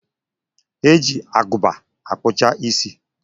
E ji Agụba akpụcha isi